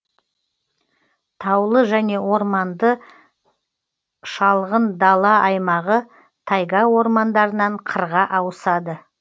таулы және орманды шалғын дала аймағы тайга ормандарынан қырға ауысады